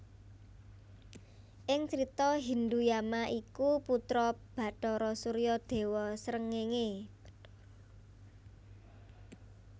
Ing Crita Hindhu Yama iku putra Bathara Surya déwa srengéngé